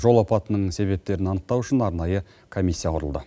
жол апатының себептерін анықтау үшін арнайы комиссия құрылды